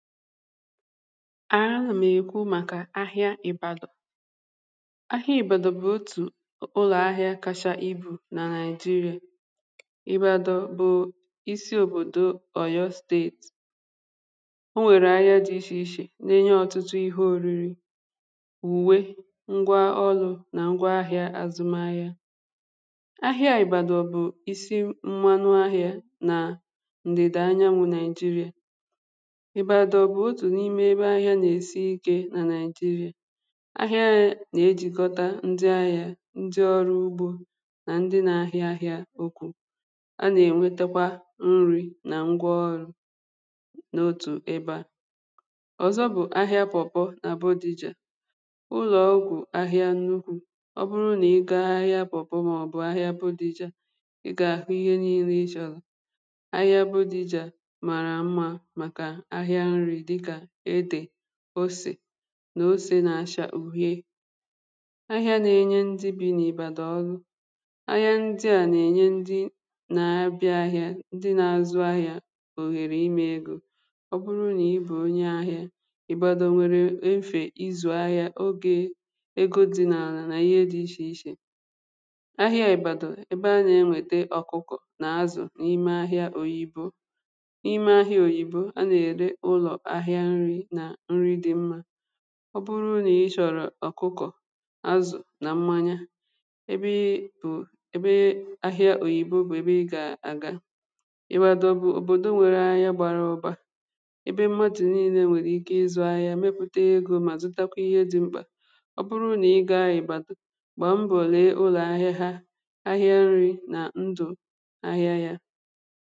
àhịa nà m èkwu màkà àhịa ị̀bàdọ̀ àhịa ị̀bàdọ̀ bụ̀ otù ụlọ̀ ahịa kacha ibù nà nigeria ị̀bàdọ̀ bụ̀ isi òbòdò oyọ steetì ọ nwèrè ahịa dị ichè ichè n’enye ọtụtụ ihe òriri ùwe ngwa ọlụ̇ nà ngwa ahịa àzụm ahịa ahịa àị̀bàdọ̀ bụ̀ isi mmanụ ahịa nà ǹdèdà anyanwụ nàịjirɪ̀ ihe ọ bụ̀ otù n’ime ebe ahịa nà-èsi ikė nà naị̀jịrịà ahịa nà-ejìkọta ndị ahịȧ ndị ọrụ ugbȯ nà ndị nȧ-ahịa ahịa okwu̇ a nà-ènwetakwa nri̇ nà ngwa ọrụ̇ n’otù ebe à ọ̀zọ bụ̀ ahịa pọ̀pọ nà buddhị jà ụlọ̀ okwu̇ ahịa nnukwu̇ ọ bụrụ nà ị gȧ ahịa pọ̀pọ màọ̀bụ̀ ahịa bụ̀ dị jȧ ị gà-àhụ ihe nii̇lė ịchọ̇lȧ ahịa buddhị jà màrà mma màkà osè nà osè nà-acha ughe ahịa nà-enye ndị bi n’ibàdò ọlụ ahịa ndị a nà-ènye ndị nà-abịa ahịa ndị na-azụ ahịa òhèrè ime egȯ ọ bụrụ nà ibù onye ahịa ìbado nwere nfè izùahịa ogė egȯdi nà anà nà ihe di ichè ichè ahịa ìbàdò ebe a nà-enwète ọ̀kụkụ nà azụ̀ n’ime ahịa òyibo ahịa nri̇ nà nri dị mma ọ bụrụ nà i chọ̀rọ̀ ọ̀kụkọ̀ azụ̀ nà mmanya ebee bụ̀ ebee ahịa òyìbe bụ̀ ebee ị gà àga ịwàdọ bụ òbòdo nwèrè ahịa gbàrà ụbà ebee mma dị̀ niilė nwèrè ike ịzụ̇ ahịa mepụ̀te gị̇ ma zụtakwa ihe dị mkpà ọ bụrụ nà ịgȧ anyị bà gbàmbòlè ụlọ̀ ahịa ha ahịa nri̇ nà ndụ̀ ahịa yȧ